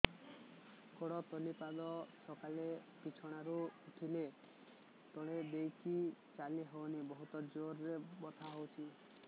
ଗୋଡ ତଳି ପାଦ ସକାଳେ ବିଛଣା ରୁ ଉଠିଲେ ତଳେ ଦେଇକି ଚାଲିହଉନି ବହୁତ ଜୋର ରେ ବଥା କରୁଛି